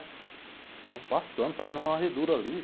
Ficavam passando, fazendo uma varredura ali.